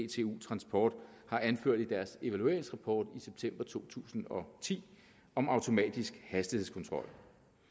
dtu transport har anført i deres evalueringsrapport i september to tusind og ti om automatisk hastighedskontrol